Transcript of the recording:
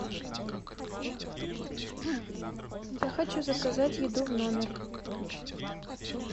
я хочу заказать еду в номер